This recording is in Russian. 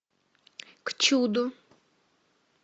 к чуду